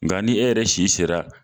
Nga ni e yɛrɛ si sera